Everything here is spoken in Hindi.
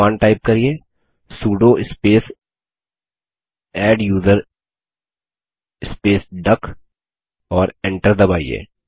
कमांड टाइप करिये sudo space adduser space duck और इंटर दबाइए